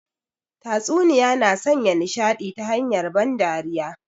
Tatsuniya na sanya nishadi ta hanyar ban dariya